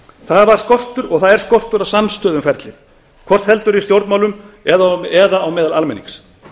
það var og er skortur á samstöðu um ferlið hvort heldur er í stjórnmálum eða meðal almennings